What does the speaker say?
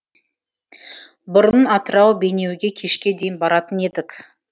бұрын атырау бейнеуге кешке дейін баратын едік